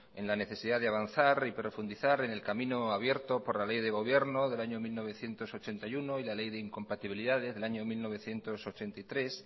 en la necesidad de avanzar y profundizar en el camino abierto por la ley de gobierno del año mil novecientos ochenta y uno y la ley de incompatibilidades del año mil novecientos ochenta y tres